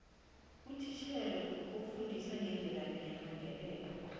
utitjhere ofundisa ngemvelaphi yamandebele